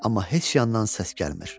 Amma heç yandan səs gəlmir.